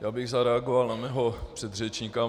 Já bych zareagoval na svého předřečníka.